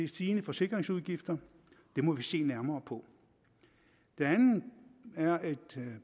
stigende forsikringsudgifter det må vi se nærmere på det andet er at